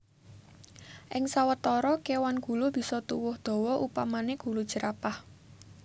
Ing sawetara kéwan gulu bisa tuwuh dawa upamané gulu jerapah